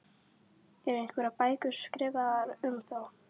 Eru einhverjar bækur skrifaðar um þá?